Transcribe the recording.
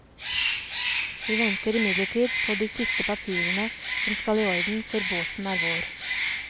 Vi venter imidlertid på de siste papirene som skal i orden før båten er vår.